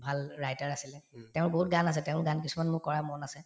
ভাল writer আছিলে তেওঁৰ বহুত গান আছে তেওঁৰ গান কিছুমান মোৰ কৰা মনত আছে